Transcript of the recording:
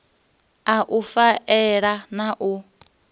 u a faela na u